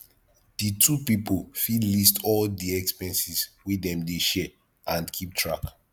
di two pipo fit list all di expenses wey dem dey share and keep track